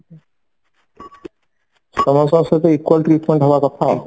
ସମସ୍ତଙ୍କ ସହିତ equal treat ହବା କଥା ଆଉ